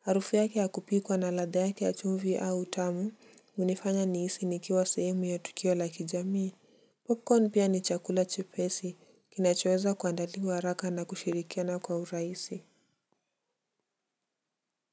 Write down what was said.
Harufu yake ya kupikwa na ladha yake ya chumvi au utamu hunifanya nihisi nikiwa sehemu ya tukio la kijamii. Popcorn pia ni chakula chepesi kinachoweza kuandaliwa haraka na kushirikiana kwa urahisi. Kwa hivyo.